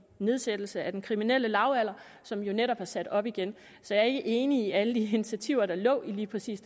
nedsættelse af den kriminelle lavalder som jo netop er blevet sat op igen så jeg er ikke enig i alle de initiativer der lå lige præcis